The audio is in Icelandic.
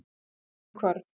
Dimmuhvarfi